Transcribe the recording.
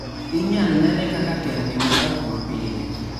inyal nene kaka terni ma ok mapile